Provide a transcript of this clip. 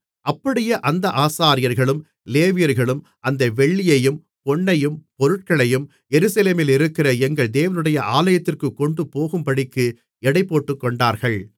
அப்படியே அந்த ஆசாரியர்களும் லேவியர்களும் அந்த வெள்ளியையும் பொன்னையும் பொருட்களையும் எருசலேமிலிருக்கிற எங்கள் தேவனுடைய ஆலயத்திற்குக் கொண்டுபோகும்படிக்கு எடைபோட்டுகொண்டார்கள்